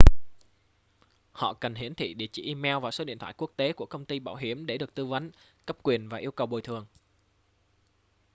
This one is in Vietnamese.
họ cần hiển thị địa chỉ email và số điện thoại quốc tế của công ty bảo hiểm để được tư vấn/cấp quyền và yêu cầu bồi thường